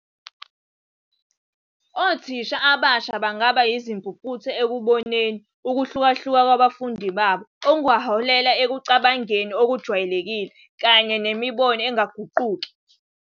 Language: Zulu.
Othisha abasha bangaba yizimpumputhe ekuboneni ukuhlukahluka kwabafundi babo, okungaholela ekucabangeni okujwayelekile kanye nemibono engaguquki.